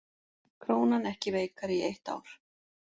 Krónan ekki veikari í eitt ár